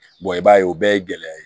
i b'a ye o bɛɛ ye gɛlɛya ye